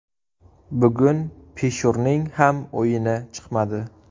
Bugun Pishurning ham o‘yini chiqmadi.